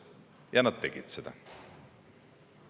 Ja nad tegid seda.